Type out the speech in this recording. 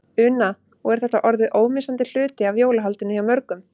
Una: Og er þetta orðið ómissandi hluti af jólahaldinu hjá mörgum?